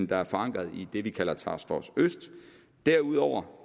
der er forankret i det vi kalder task force øst derudover